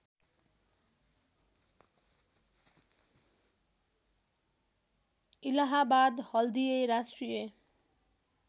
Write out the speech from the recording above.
इलाहाबाद हल्दिए राष्ट्रिय